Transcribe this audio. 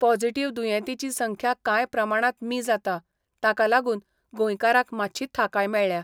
Positive दुयेंतींची संख्या काय प्रमाणात मी जाता, ताकालागुन गोंयकाराक मात्शी थाकाय मेळ्ळ्या.